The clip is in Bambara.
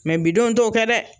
bidenw t'o kɛ dɛ